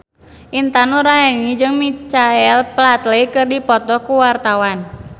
Intan Nuraini jeung Michael Flatley keur dipoto ku wartawan